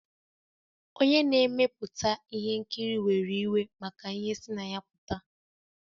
Onye na-emepụta ihe nkiri were iwe maka ihe si na ya pụta